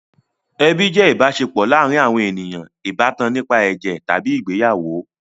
Ẹbi jẹ́ ìbáṣepọ̀ láàárin àwọn ènìyàn ìbátan nípa ẹ̀jẹ̀ tàbí ìgbéyàwó.